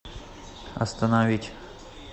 остановить